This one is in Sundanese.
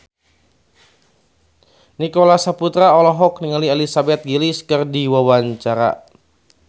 Nicholas Saputra olohok ningali Elizabeth Gillies keur diwawancara